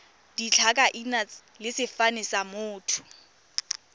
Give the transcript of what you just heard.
ditlhakaina le sefane sa motho